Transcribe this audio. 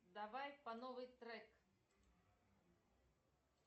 давай по новой трек